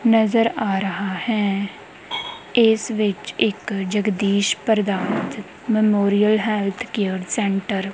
ਨਜ਼ਰ ਆ ਰਹਾ ਹੈ ਏਸ ਵਿੱਚ ਇੱਕ ਜਗਦੀਸ਼ ਪ੍ਰਧਾਤੰ ਮੇਮੋਰੀਅਲ ਹੈਲਥ ਕੇਅਰ ਸੈਂਟਰ ।